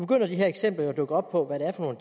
dukke de her eksempler op på hvad det er for